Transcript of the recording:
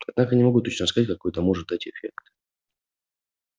однако не могу точно сказать какой это может дать эффект